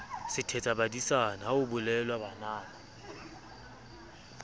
sethetsabadisana ha ho bolelwa banana